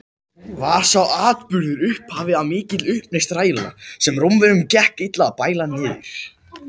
Var sá atburður upphafið að mikilli uppreisn þræla, sem Rómverjum gekk illa að bæla niður.